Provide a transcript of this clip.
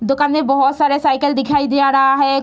दोकान में बहुत सारा साइकिल दिखाई दे रहा है।